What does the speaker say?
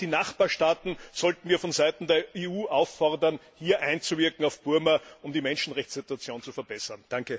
Auch die Nachbarstaaten sollten wir von Seiten der EU auffordern, auf Burma einzuwirken, um die Menschenrechtssituation zu verbessern.